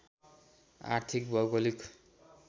आर्थिक भौगोलिक